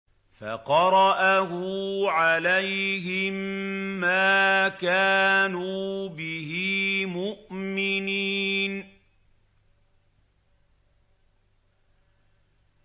فَقَرَأَهُ عَلَيْهِم مَّا كَانُوا بِهِ مُؤْمِنِينَ